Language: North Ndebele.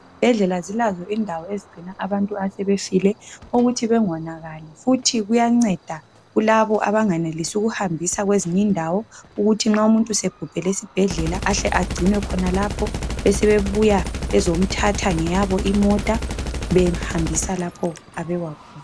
Izibhedlela zilazo indawo ezigcina abantu asebefile ukuthi bengonakali futhi kuyanceda kulabo abangenelisi ukuhambisa kwezinyi ndawo ukuthi nxa umuntu sebhubhele esibhedlela. Ahle agcinwe khonalapho besebebuya bezomthatha ngeyabo imota behambisa lapho abekwa khona .